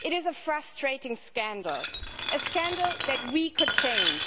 It is a frustrating scandal a scandal that we could change.